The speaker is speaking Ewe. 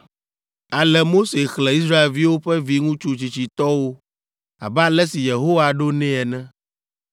Ale Mose xlẽ Israelviwo ƒe viŋutsu tsitsitɔwo abe ale si Yehowa ɖo nɛ ene,